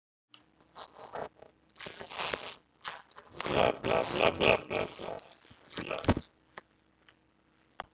Trúlega á hann bara eftir að verða enn verri.